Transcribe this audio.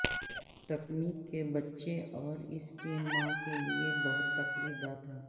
تکنیک کے بچے اور اس کی ماں کے لئے بہت تکلیف دہ تھا